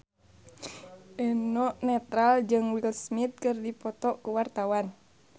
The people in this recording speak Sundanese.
Eno Netral jeung Will Smith keur dipoto ku wartawan